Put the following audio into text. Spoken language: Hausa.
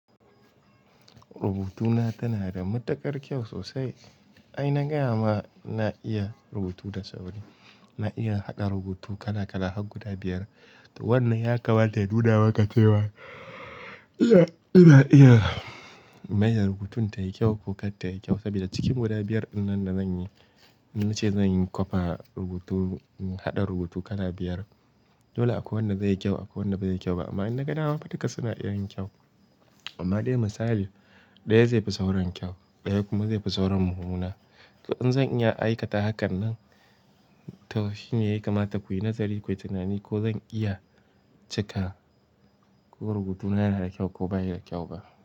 Rubutuna tana da matuƙar kyau sosai. Ai na gaya maka ina iya rubutu da sauri, na iya hada rubutu kala kala har guda biyar. To wannan ya kamata ya nuna maka cewa ina iya in maida rubutun tayi kyau ko kar tayi kyau. Saboda cikin guda biyar dinnan da zanyi, in nace zanyi kwafa rubutu, in haɗa rubutu kala biyar. Dole akwai wanda zai yi kyau akwai wanda ba zai yi kyau ba. Amma idan na ga dama duka suna iya yin kyau. Amma dai misali, ɗaya zai fi sauran kyau, ɗaya kuma zai fi sauran mummuna. To in zan iya aikata hakan nan, to shine ya kamata ku kara nazari, kuyi tunani ko zan iya cikawa ko rubutuna yana da kyau ko bai da kyau ba.